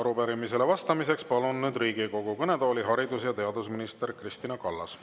Arupärimisele vastamiseks palun nüüd Riigikogu kõnetooli haridus- ja teadusminister Kristina Kallase.